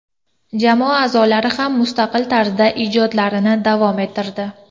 Jamoa a’zolari ham mustaqil tarzda ijodlarini davom ettirdi.